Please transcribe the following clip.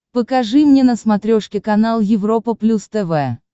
покажи мне на смотрешке канал европа плюс тв